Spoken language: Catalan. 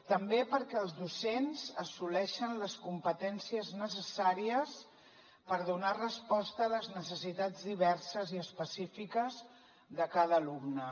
també perquè els docents assoleixen les competències necessàries per donar resposta a les necessitats diverses i específiques de cada alumne